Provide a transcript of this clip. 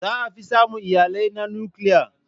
Za a fi samun iyalai na nukiliya.